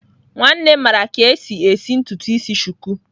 Nwannem mara ka esi esi ntutu isi shuku